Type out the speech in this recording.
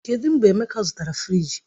Kedụ mgbe Emeka zụtara fịrij?